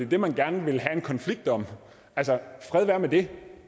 det man gerne vil have en konflikt om altså fred være med det